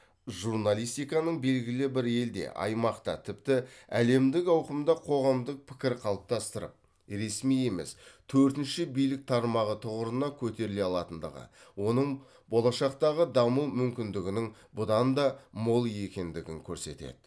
журналистиканың белгілі бір елде аймақта тіпті әлемдік ауқымда қоғамдық пікір қалыптастырып ресми емес төртінші билік тармағы тұғырына көтеріле алатындығы оның болашақтағы даму мүмкіндігінің бұдан да мол екендігін көрсетеді